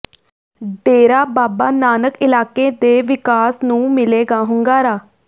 ਡੇਰਾ ਬਾਬਾ ਨਾਨਕ ਇਲਾਕੇ ਦੇ ਵਿਕਾਸ ਨੂੰ ਮਿਲੇਗਾ ਹੁੰਗਾਰਾ